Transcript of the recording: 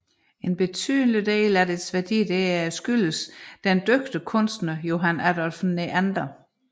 En betydelig del af dets værdi skyldes dog den dygtige kunstner Johann Adolph Neander